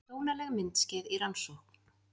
Dónaleg myndskeið í rannsókn